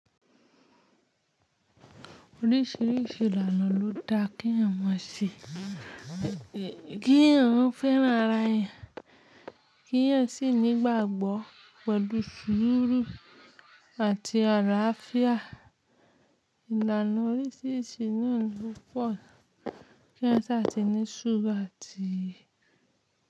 Oríṣiríṣi ìlànà ló da kí èèyàn mọ se, kí èèyàn fẹ́ràn ara èèyàn, kí èèyàn sì ní ìgbàgbọ́ pẹ̀lú sùúrù àti àlàáfíà. Ìlànà oríṣiríṣi náà ló pọ̀ k’èèyàn sáàtì ní sùúrù àti.